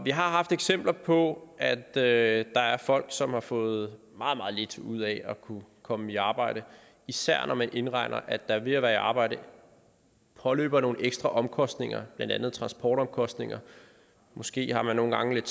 har haft eksempler på at der er folk som har fået meget meget lidt ud af at kunne komme i arbejde især når man indregner at der ved at være i arbejde påløber nogle ekstra omkostninger blandt andet transportomkostninger og måske har man nogle gange lidt